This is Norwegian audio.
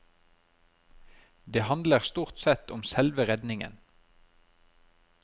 De handler stort sett om selve redningen.